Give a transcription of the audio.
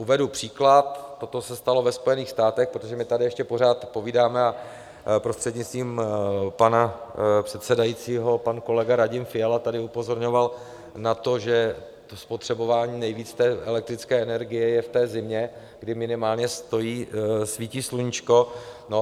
Uvedu příklad: Toto se stalo ve Spojených státech, protože my tady ještě pořád povídáme a prostřednictvím pana předsedajícího pan kolega Radim Fiala tady upozorňoval na to, že spotřebování nejvíce elektrické energie je v té zimě, kdy minimálně svítí sluníčko.